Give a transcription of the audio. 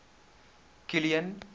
kilian